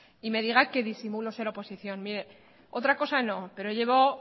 y me diga que disimulo ser oposición mire otra cosa no pero llevo